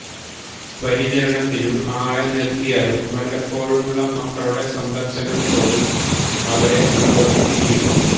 പരിചരണത്തിനു ആളെ നിര്ത്തിയാലും വല്ലപ്പോഴുമുള്ള മക്കളുടെ സന്ദര്ശനംപോലും അവരെ സന്തോഷിപ്പിക്കും